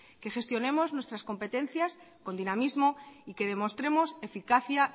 que gestionemos nuestras competencias con dinamismo y que demostremos eficacia